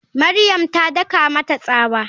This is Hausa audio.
Mariam ta daka mata tsawa.